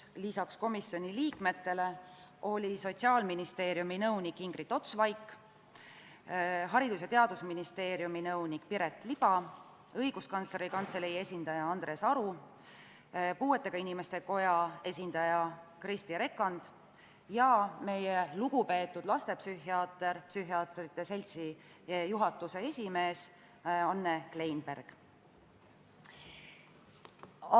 Lisaks komisjoni liikmetele olid kohal Sotsiaalministeeriumi nõunik Ingrid Ots-Vaik, Haridus- ja Teadusministeeriumi nõunik Piret Liba, Õiguskantsleri Kantselei esindaja Andres Aru, Eesti Puuetega Inimeste Koja esindaja Kristi Rekand ja Eesti Psühhiaatrite Seltsi juhatuse esimees, lugupeetud lastepsühhiaater Anne Kleinberg.